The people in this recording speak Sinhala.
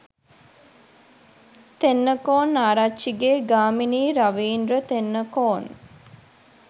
තෙන්නකෝන් ආරච්චිගේ ගාමිණී රවීන්ද්‍ර තෙන්නකෝන් .